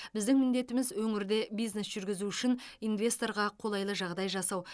біздің міндетіміз өңірде бизнес жүргізу үшін инвесторға қолайлы жағдай жасау